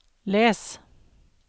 les